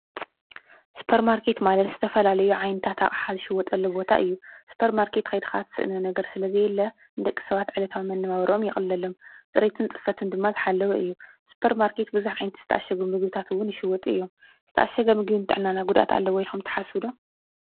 ስፖር ማርኬትት ማለት ዝተፈላለዩ ዓይንታት ኣቕሓ ዝሽየጠሉ ቦታ እዩ። ስፖር ማርከት ከይድኻ ትስእኖ ነገር ስለ ዘየለ ንድቂ ሰባት ዕለታው መነባብርኦም የቕለሎም። ጽረይቱን ጽፈቱን ድማ ዝሓለውር እዩ። ስፖር ማርከት ብዙኅ ዓይነት ዝተኣሸጕ ምግብታት እውን ይሽወጡ እዮም። ዝተኣሸግ ምግቢ ንጥዕናና ጕዳት ኣለወ ኢልኹም ትሓስቡ ዶ?